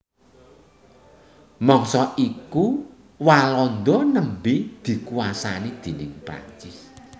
Mangsa iku Walanda nembé dikuwasani déning Prancis